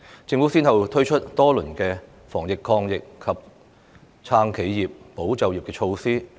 政府先後推出多輪防疫抗疫及"撐企業、保就業"措施。